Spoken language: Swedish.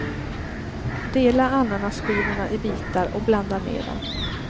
Dela ananasskivorna i bitar och blanda ner dem.